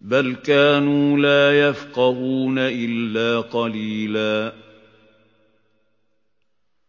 بَلْ كَانُوا لَا يَفْقَهُونَ إِلَّا قَلِيلًا